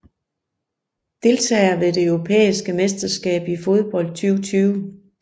Deltagere ved det europæiske mesterskab i fodbold 2020